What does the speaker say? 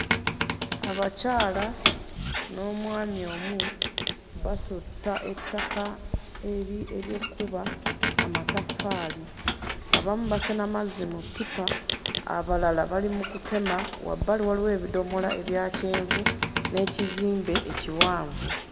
Abakyala n'omwami omu basotta ettaka eri... ery'okkuba amataffaali. Abamu basena mazzi mu ppipa, abalala bali mu kutema, wabbali waliyo ebidomola ebya kyenvu n'ekizimbe ekiwanvu.